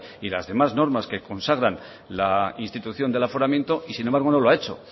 y las demás normas que consagran la institución del aforamiento y sin embargo no lo ha hecho